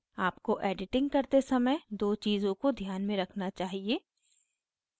आपको editing करते समय 2 चीज़ों को ध्यान में रखना चाहिए